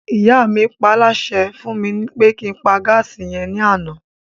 Ìyá mi paálásẹ fún mi pé kí n pa gáàsì yẹn ní àná